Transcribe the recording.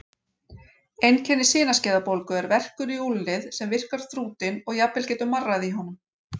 Einkenni sinaskeiðabólgu er verkur í úlnlið sem virkar þrútinn og jafnvel getur marrað í honum.